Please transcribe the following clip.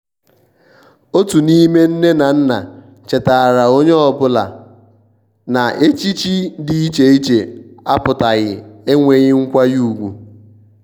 otu n'ime nne na nna chetaara onye ọbụla na echichi dị iche iche apụtaghi enweghi nkwanye ùgwù.